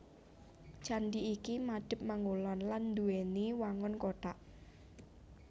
Candhi iki madhep mangulon lan nduwèni wangun kothak